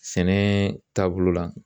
Sɛnɛ taabolo la